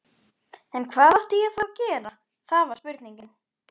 En hvað átti ég þá að gera, það var spurningin.